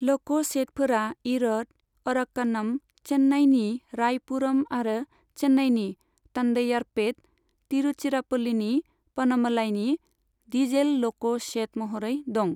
ल'क' शेडफोरा इर'द, अराक्क'नम, चेन्नाइनि रायपुरम आरो चेन्नाइनि तन्डैयारपेट, तिरुचिरापल्लीनि प'नमलाईनि डिजेल ल'क' शेद महरै दं।